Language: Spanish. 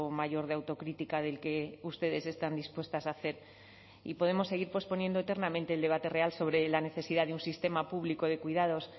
mayor de autocrítica del que ustedes están dispuestas a hacer y podemos seguir posponiendo eternamente el debate real sobre la necesidad de un sistema público de cuidados